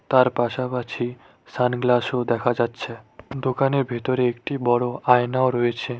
তার পাশাপাশি সানগ্লাস -ও দেখা যাচ্ছে দোকানের ভিতরে একটি বড় আয়নাও রয়েছে।